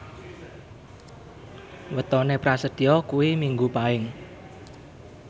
wetone Prasetyo kuwi Minggu Paing